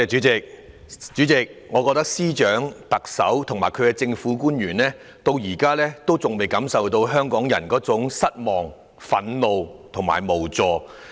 主席，我覺得司長、特首和政府官員現在還未感受到香港人的失望、憤怒和無助。